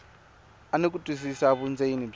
ni ku twisisa vundzeni bya